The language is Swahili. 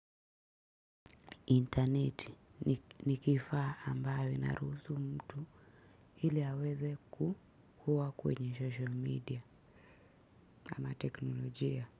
Internet ni kifaa ambayo inaruhusu mtu ili aweze kuhua kwenye social media ama teknolojia.